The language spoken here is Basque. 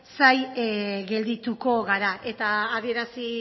zain geldituko gara eta adierazi